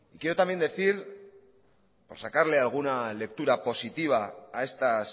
quiero también decir por sacarle alguna lectura positiva a estas